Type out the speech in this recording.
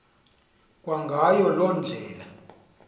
kwangayo loo ndlela